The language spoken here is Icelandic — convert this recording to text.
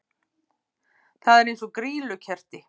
Það er eins og grýlukerti!